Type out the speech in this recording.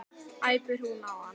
æpir hún á hann.